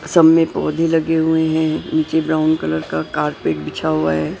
सब में पौधे लगे हुए हैं नीचे ब्राउन कलर का कारपेट बिछा हुआ है।